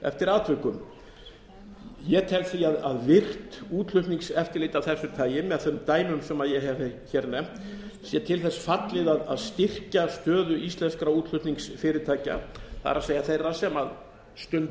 eftir atvikum ég tel því að virt útflutningseftirlit af þessu tagi með þeim dæmum sem ég hef nefnt sé til þess fallið að styrkja stöðu íslenskra útflutningsfyrirtækja það er þeirra sem stunda